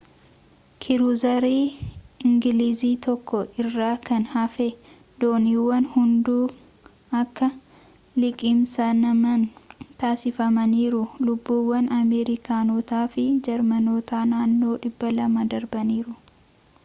kiruuzarii ingilizii tokko irraa kan hafe dooniiwwan hunduu akka liqimsaman taasifamaniiru lubbuuwwan ameerikaanotaa fi jarmanootaa naannoo 200 darbaniiru